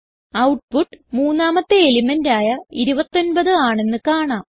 output മൂന്നാമത്തെ element ആയ 29 ആണെന്ന് കാണാം